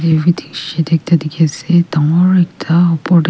ekta dikhi ase dangor ekta upar teh.